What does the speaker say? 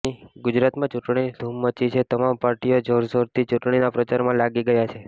ગુજરાતમાં ચૂંટણીની ધૂમ મચી છે તમામ પાર્ટીઓ જોરશોરથી ચૂંટણીના પ્રચારમાં લાગી ગયા છે